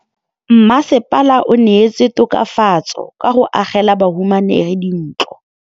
Mmasepala o neetse tokafatsô ka go agela bahumanegi dintlo.